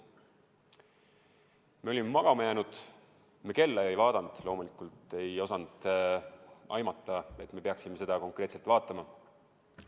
Me olime magama jäänud, me kella ei vaadanud, loomulikult ei osanud aimata, et me peaksime seda konkreetselt vaatama.